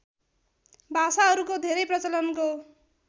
भाषाहरूको धेरै प्रचलनको